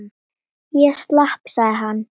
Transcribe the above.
Ég slapp sagði hann.